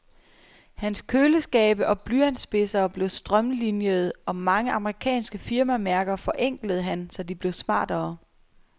Hans køleskabe og blyantspidsere blev strømlinjede, og mange amerikanske firmamærker forenklede han, så de blev smartere.